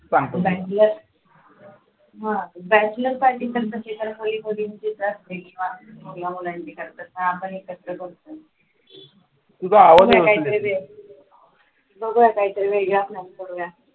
bachelor साठी तर बघा काहीतरी वेगळा plan